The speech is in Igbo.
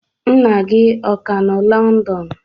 Nna gị ọ ka nọ London?